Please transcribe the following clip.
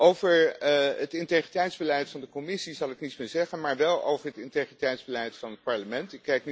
Over het integriteitsbeleid van de Commissie zal ik niets meer zeggen maar wel over het integriteitsbeleid van het Parlement.